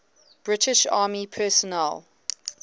british army personnel